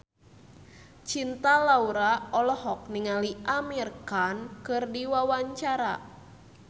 Cinta Laura olohok ningali Amir Khan keur diwawancara